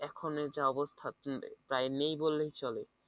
এখনের যা অবস্থা প্রায় নেই বললেই চলে